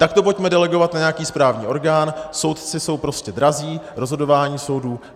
Tak to pojďme delegovat na nějaký správní orgán, soudci jsou prostě drazí, rozhodování soudů.